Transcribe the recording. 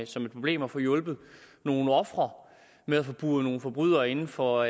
som et problem og få hjulpet nogle ofre med at få buret nogle forbrydere inde for